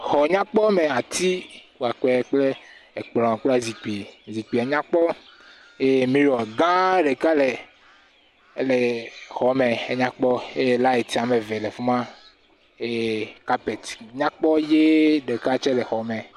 Xɔ nyakpɔ me, atikpakpɛ kple ekplɔ̃ kple zikpi, zikpiɛ nyakpɔ eye mirɔ gãa ɖeka le, le xɔme. Enyakpɔ. Eye laɛt woame ve le afi ma. Eye kapɛt nyakpɔ deka ʋee tsɛ le xɔme